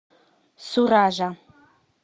суража